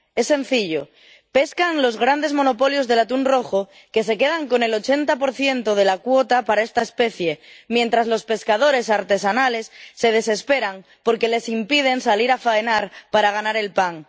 Es sencillo pescan los grandes monopolios del atún rojo, que se quedan con el 80 de la cuota para esta especie, mientras los pescadores artesanales se desesperan porque les impiden salir a faenar para ganar el pan.